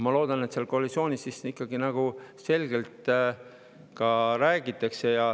Ma loodan, et koalitsioonis räägitakse ikka selgelt.